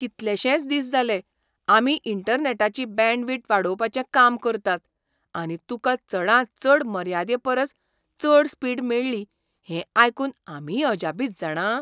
कितलेशेंच दीस जालें, आमी इंटरनॅटाची बँडविड्थ वाडोवपाचें काम करतात आनी तुका चडांत चड मर्यादे परस चड स्पिड मेळ्ळी हें आयकून आमीय अजापीत जाणा.